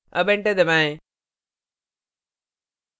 अब enter दबाएं